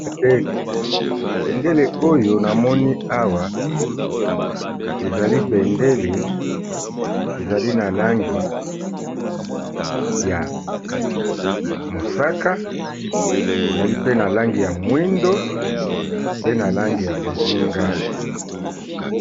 Bendele, bendele oyo namoni awa ezali bendele ezali na langi ya mosaka, ezali pe na langi ya mwindo, mpe na langi ya bozinga.